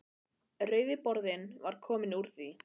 Rauði borðinn var kominn úr því.